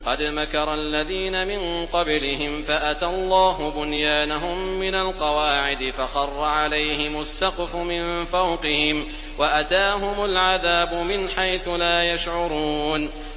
قَدْ مَكَرَ الَّذِينَ مِن قَبْلِهِمْ فَأَتَى اللَّهُ بُنْيَانَهُم مِّنَ الْقَوَاعِدِ فَخَرَّ عَلَيْهِمُ السَّقْفُ مِن فَوْقِهِمْ وَأَتَاهُمُ الْعَذَابُ مِنْ حَيْثُ لَا يَشْعُرُونَ